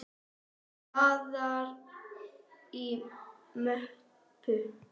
Blaðar í möppu.